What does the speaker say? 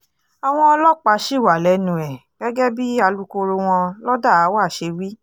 àwọn ọlọ́pàá ṣì wà lẹ́nu ẹ̀ gẹ́gẹ́ bí alūkkoro wọn lọ́dàáwà ṣe wí